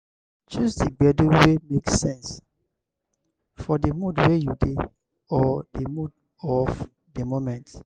choose di gbedu wey make sense for di mood wey you dey or di mood of di moment